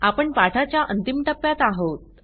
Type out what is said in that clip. आपण पाठाच्या अंतिम टप्यात आहोत